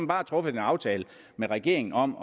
bare truffet en aftale med regeringen om